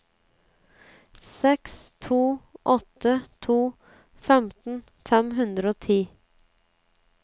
seks to åtte to femten fem hundre og ti